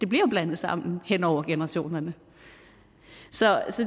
bliver blandet sammen hen over generationerne så